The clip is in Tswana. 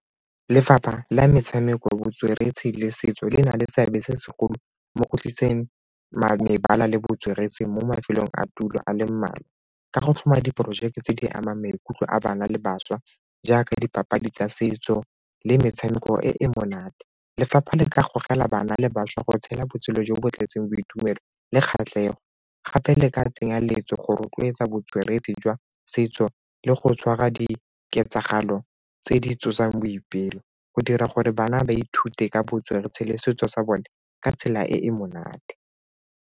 Lefapha la metshameko, botsweretshi le setso le na le seabe se segolo mo go tlisitseng mebala le botsweretshi mo mafelong a tulo a le mmalwa, ka go tlhoma diporojeke tse di amang maikutlo a bana le bašwa jaaka dipapadi tsa setso le metshameko e e monate. Lefapha le ka gogela bana le bašwa go tshela botshelo jo bo bo tletseng boitumelo le kgatlhego gape le ka tsenya letso go rotloetsa botsweretshi jwa setso le go tshwara diketsagalo tse di tsosang boipelo go dira gore bana ba ithute ka botsweretshi le setso sa bone ka tsela e e monate.